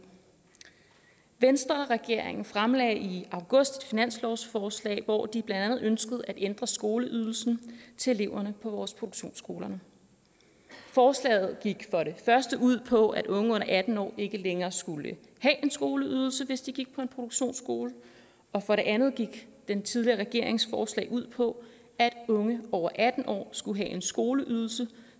venstreregeringen fremlagde i august et finanslovsforslag hvori de blandt andet ønskede at ændre skoleydelsen til eleverne på vores produktionsskoler forslaget gik for det første ud på at unge under atten år ikke længere skulle have en skoleydelse hvis de gik på en produktionsskole og for det andet gik den tidligere regerings forslag ud på at unge over atten år skulle have en skoleydelse